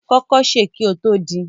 Kọkọ ṣẹ kí o tó din!